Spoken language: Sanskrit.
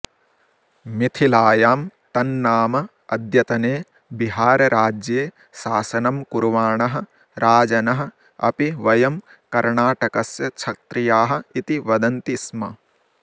मिथिलायां तन्नाम अद्यतने बिहारराज्ये शासनं कुर्वाणः राजनः अपि वयं कर्णाटकस्य क्षत्रियाः इति वदन्ति स्म